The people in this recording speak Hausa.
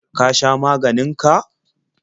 Ka sha maganin ka?